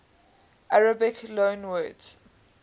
arabic loanwords